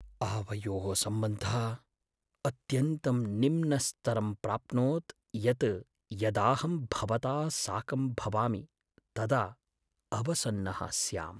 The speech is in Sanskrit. आवयोः सम्बन्धः अत्यन्तं निम्नस्तरं प्राप्नोत् यत् यदाहं भवता साकं भवामि तदा अवसन्नः स्याम्।